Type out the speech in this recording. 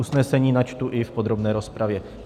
Usnesení načtu i v podrobné rozpravě.